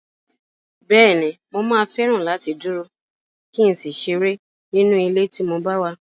Bẹ́ẹ̀ni, mà á fẹ́ràn láti dúró, kí n sì ṣeré nínú ilé tí mo bá wà.